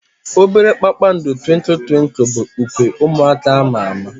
Obere kpakpando Twinkle twinkle bụ ukwe ụmụaka ama ama.